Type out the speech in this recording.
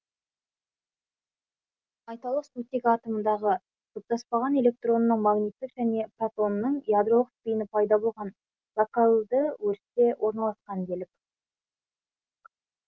айталық сутек атомындағы жұптаспаған электронының магниттік және протонының ядролық спині пайда болған локальды өрісте орналасқан делік